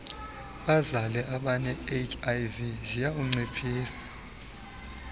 bazale abanehiv ziyawunciphisa